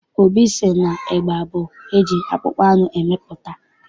Obi sị na ịgba bụ nke eji akpụkpọ anụ emepụta.